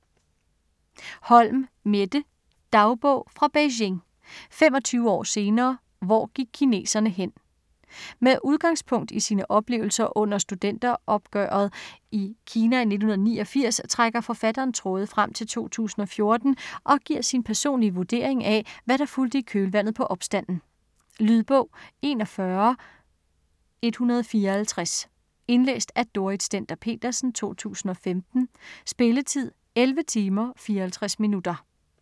Holm, Mette: Dagbog fra Beijing - 25 år senere, hvor gik kineserne hen? Med udgangspunkt i sine oplevelser under studenteropgøret i Kina i 1989, trækker forfatteren tråde frem til 2014 og giver sin personlige vurdering af hvad der fulgte i kølvandet på opstanden. Lydbog 41154 Indlæst af Dorrit Stender-Petersen, 2015. Spilletid: 11 timer, 54 minutter.